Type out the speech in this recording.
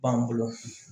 B'an bolo